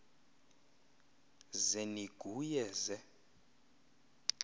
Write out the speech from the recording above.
ze niguye ze